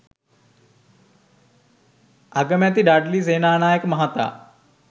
අගමැති ඩඩ්ලි සේනානායක මහතා